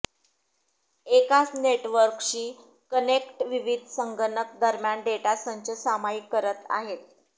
एकाच नेटवर्कशी कनेक्ट विविध संगणक दरम्यान डेटा संच सामायिक करत आहे